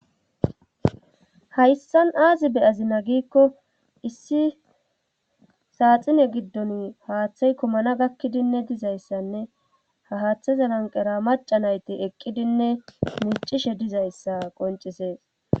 Hayssan aazi be azina giikko issi saaxine giddon haaththey komana gakkidinne dizayssanne ha haaththezalanqera maca nayti eqqidinne miicishe dizayssa qoncisees.